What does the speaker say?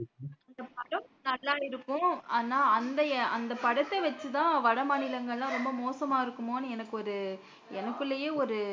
நல்லா இருக்கும் ஆனா அந்த அந்த படத்த வச்சி தான் வட மாநிலங்கள் எல்லாம் ரொம்ப மோசமாக இருக்குமோனு எனக்கு ஒரு எனக்குள்ளேயே ஒரு